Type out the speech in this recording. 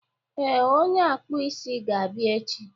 ee, onye akpụ isi ga-abịa echi